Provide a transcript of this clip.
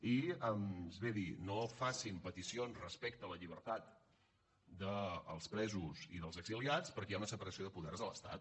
i ens ve a dir no facin peticions respecte a la llibertat dels presos i dels exiliats perquè hi ha una separació de poders a l’estat